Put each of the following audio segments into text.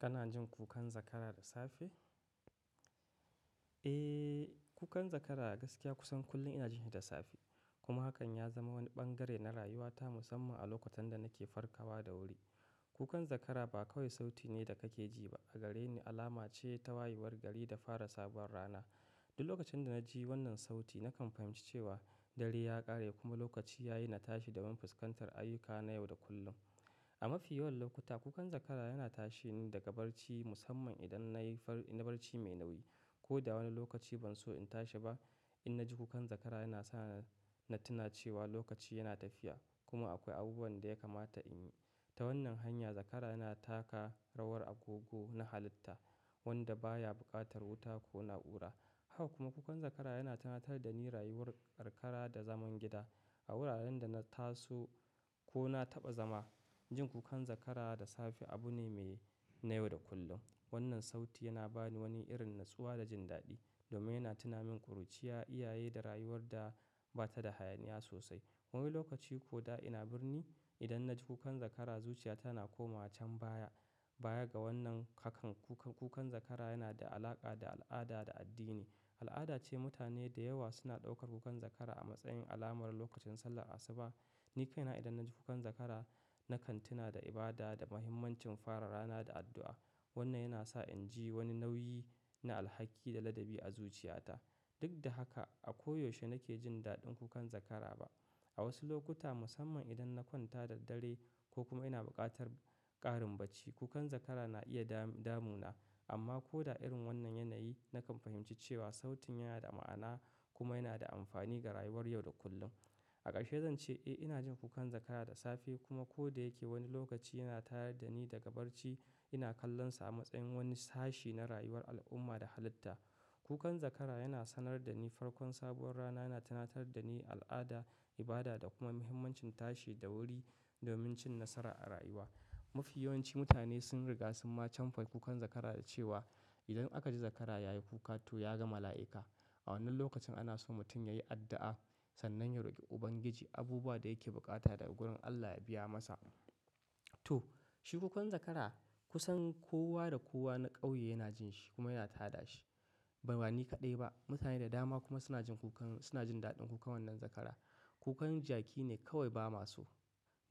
Kana jin kukan zakara da safe? Eh, kukan zakara gaskiya kusan kullum ina jin shi da safe. Kuma hakan ya zama wani bangare na rayuwata musamman a lokutan da nake farkawa da wuri. Kukan zakara ba kawai sauti ne da kake ji ba, a gare ni alama ce ta wayewar gari da fara sabuwar rana. Duk lokacin da na ji wannan sauti, na kan fahimci cewa dare ya ƙare kuma lokaci ya yi na tashi domin fuskantar ayyuka na yau da kullum. A mafi yawan lokuta, kukan zakara yana tashi ni daga barci musamman idan na yi barci mai nauyi. Ko da wani lokaci ban so in tashi ba, in na ji kukan zakara yana sa na tuna cewa lokaci yana tafiya kuma akwai abubuwan da ya kamata in yi. Ta wannan hanya, zakara yana taka rawar agogo na halitta wanda baya buƙatar wuta ko na'ura. Haka kuma kukan zakara yana tunatar da ni rayuwar karkara da zaman gida. A wuraren da na taso ko na taɓa zama, jin kukan zakara da safe abu ne me na yau da kullum. Wannan sauti yana ba ni wani irin natsuwa da jin daɗi domin yana tuna min ƙuruciya, iyaye, da rayuwar da ba ta da hayaniya sosai. Wani lokaci ko da ina birni, idan na ji kukan zakara, zuciyata na komawa can baya. Baya ga wannan, hakan kukan zakara yana da alaƙa da al'ada da addini. Al'ada ce mutane da yawa suna ɗaukar kukan zakara a matsayin alamar lokacin sallar asuba. Ni kaina idan na ji kukan zakara, na kan tuna da ibada da muhimmancin fara rana da addu'a. Wannan yana sa in ji wani nauyi na alhaki da ladabi a zuciyata. Duk da haka, a koyaushe nake jin daɗin kukan zakara ba. A wasu lokuta musamman idan na kwanta da dare ko kuma ina buƙatar ƙarin bacci, kukan zakara na iya damu na. Amma ko da irin wannan yanayi, na kan fahimci cewa sautin yana da ma'ana kuma yana da amfani ga rayuwar yau da kullum. A ƙarshe zan ce eh ina jin kukan zakara da safe kuma ko da yake wani lokaci yana tayar da ni daga barci, ina kallonsa a matsayin wani sashi na rayuwar al'umma da halitta. Kukan zakara yana sanar da ni farkon sabuwar rana yana tunatar da ni al'ada, ibada da kuma muhimmancin tashi da wuri domin cin nasara a rayuwa. Mafi yawanci mutane sun riga sun ma camfa kukan zakara da cewa idan aka ji zakara ya yi kuka to ya ga mala'ika. A wannan lokacin ana so mutum ya yi addu'a sannan ya roƙi Ubangiji abubuwa da yake bukata daga gurin Allah ya biya masa. To shi kukan zakara kusan kowa da kowa na ƙauye yana jin shi kuma yana tada shi. Ba ni kaɗai ba, mutane da dama kuma suna jin daɗin kukan wannan zakara. Kukan jaki ne kawai ba ma so.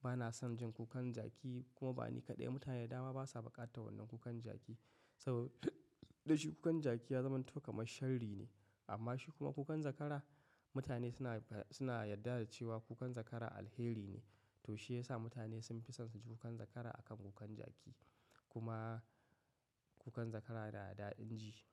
Bana son jin kukan jaki kuma ba ni kaɗai, mutane da dama ba sa buƙatar wannan kukan jaki. Saboda shi kukan jaki ya zamanto kamar sharri ne. Amma shi kuma kukan zakara mutane suna suna yarda da cewa kukan zakara alheri ne. To shi ya sa mutane sun fi son su ji kukan zakara akan kukan jaki. Kuma kukan zakara yana da daɗin ji.